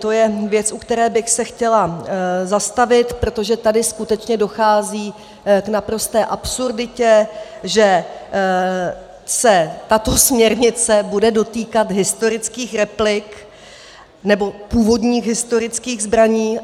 To je věc, u které bych se chtěla zastavit, protože tady skutečně dochází k naprosté absurditě, že se tato směrnice bude dotýkat historických replik nebo původních historických zbraní.